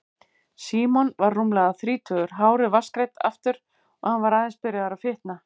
Símon var rúmlega þrítugur, hárið vatnsgreitt aftur og hann var aðeins byrjaður að fitna.